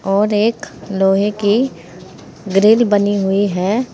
और एक लोहे की ग्रिल बनी हुई है।